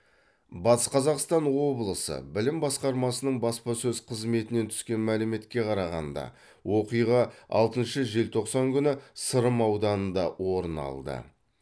батыс қазақстан облысы білім басқармасының баспасөз қызметінен түскен мәліметке қарағанда оқиға алтыншы желтоқсан күні сырым ауданында орын алды